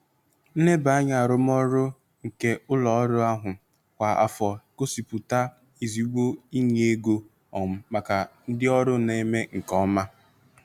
Nlebanya arụmọrụ nke ụlọ ọrụ ahụ kwa afọ gosipụta ezigbo inye ego um maka ndị ọrụ na-eme nke ọma.